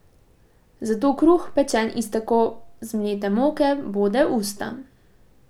Zato kruh, pečen iz tako zmlete moke, bode usta.